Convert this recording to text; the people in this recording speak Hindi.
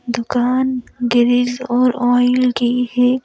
दुकान ग्रिज और ऑयल की है।